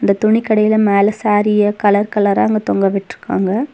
இந்தத் துணிக்கடைல மேல சாரீய கலர் கலரா அங்க தொங்க விட்ருக்காங்க.